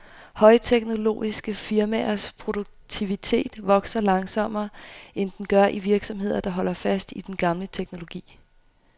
Højteknologiske firmaers produktivitet vokser langsommere, end den gør i virksomheder, der holder fast i den gamle teknologi.